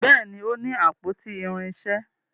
Béèni o ní àpótí irinṣẹ.